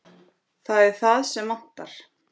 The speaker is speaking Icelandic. Það er það sem vantar.